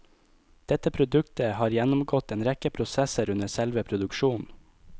Dette produktet har gjennomgått en rekke prosesser under selve produksjonen.